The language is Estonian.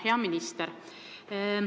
Hea minister!